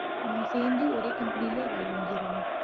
நம்ம சேர்ந்து ஒரே company லயே வேலை வாங்கிருவோம்